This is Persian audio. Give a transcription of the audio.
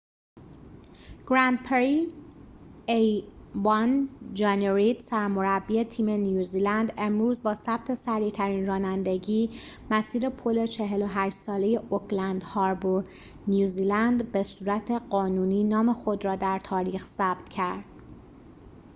جانی رید سرمربی تیم a۱ گرند پری نیوزلند امروز با ثبت سریعترین رانندگی مسیر پل ۴۸ ساله اوکلند هاربور نیوزیلند به صورت قانونی نام خود را در تاریخ ثبت کرد